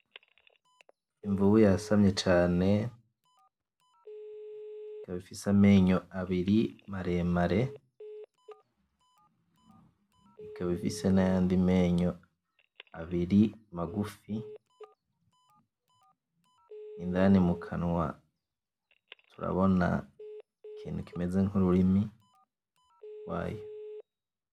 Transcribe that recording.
Imvubu yasamye cane. Ikaba ifise amenyo abiri maremare, ikaba ifise n'ayandi menyo abiri magufi, indani mu kanwa turabona ikintu kimeze nk'ururimi gwayo.